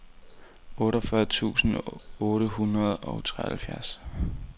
otteogfyrre tusind otte hundrede og treogfirs